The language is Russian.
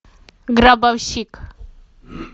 гробовщик